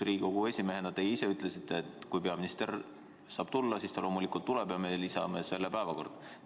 Riigikogu esimehena te ise ütlesite, et kui peaminister saab tulla, siis ta loomulikult tuleb siia ja me lisame selle päevakorda.